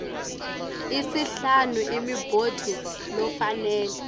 isihlanu imibuto lofanele